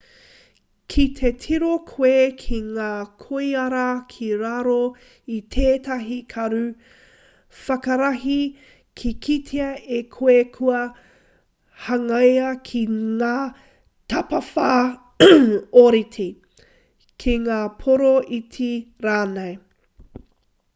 ki te tiro koe ki ngā koiora ki raro i tētahi karu whakarahi, ka kitea e koe kua hangaia ki ngā tapawhā ōrite ki ngā pōro iti rānei